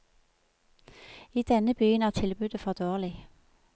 I denne byen er tilbudet for dårlig.